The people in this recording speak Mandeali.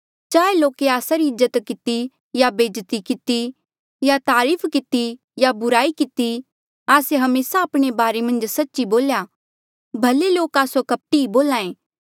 चाहें लोके आस्सा री इज्जत किती या बेज्जती किती या तारीफ किती या बुराई किती आस्से हमेसा आपणे बारे मन्झ सच्च ही बोल्या भले लोक आस्सो कपटी ही बोल्हे